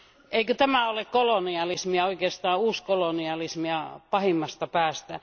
Eikö tämä ole kolonialismia, oikeastaan uuskolonialismia pahimmasta päästä?